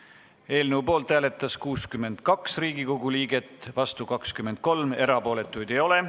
Hääletustulemused Poolt hääletas 62 Riigikogu liiget, vastu 23, erapooletuid ei ole.